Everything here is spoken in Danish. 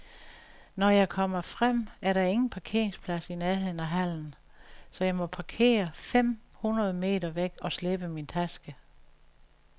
Når jeg kommer frem, er der ingen parkeringsplads i nærheden af hallen, så jeg må parkere fem hundrede meter væk og slæbe min taske.